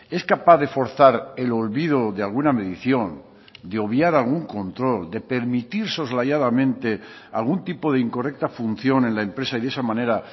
es capaz de forzar el olvido de alguna medición de obviar algún control de permitir soslayadamente algún tipo de incorrecta función en la empresa y de esa manera